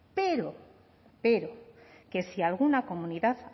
pero pero que si alguna comunidad